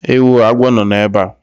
Ewoo! agwọ nọ ebe a!